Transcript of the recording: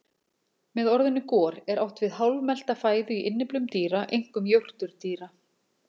Með orðinu gor er átt við hálfmelta fæðu í innyflum dýra, einkum jórturdýra.